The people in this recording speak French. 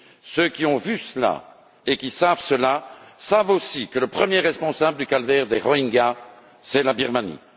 ceux qui ont vu cela et qui sont au courant savent aussi que le premier responsable du calvaire des Rohingyas, c'est la Birmanie.